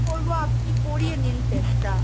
করবো আপনি করিয়ে নিন test টা।